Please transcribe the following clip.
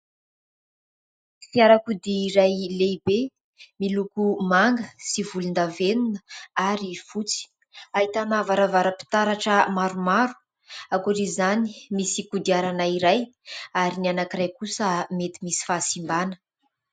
Fiarakodia iray lehibe miloko manga sy volondavenona ary fotsy ; ahitana varavaram-pitaratra maromaro. Ankoatr'izany, misy kodiarana iray, ary ny anankiray kosa mety misy fahasimbana.